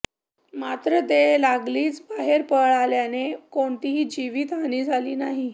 मात्र ते लागलीच बाहेर पळाल्याने कोणतीही जीवितहानी झाली नाही